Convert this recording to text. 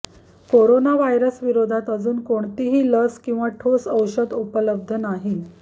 corona व्हायरसविरोधात अजूनही कोणतीही लस किंवा ठोस औषध उपलब्ध नाही